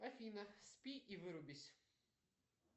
афина спи и вырубись